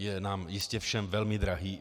Je nám jistě všem velmi drahý.